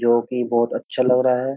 जोकि बोहोत अच्छा लग रहा है।